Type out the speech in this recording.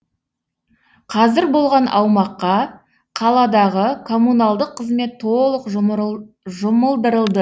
қазір болған аумаққа қаладағы коммуналдық қызмет толық жұмылдырылды